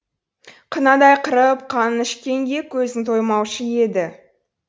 қынадай қырып қанын ішкенге көзің тоймаушы еді